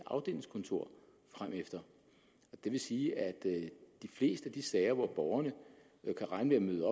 afdelingskontor fremefter det vil sige at i de fleste de sager hvor borgerne kan regne med